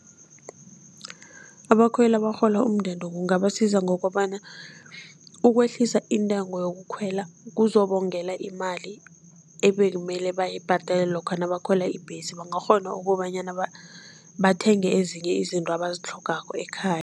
Abakhweli abarhola umndende kungabasiza ngokobana, ukwehlisa intengo yokukhwela kuzobongela imali ebekumele bayibhadele lokha nabakhwela ibhesi, bangakghona ukobanyana bathenge ezinye izinto abazitlhogako ekhaya.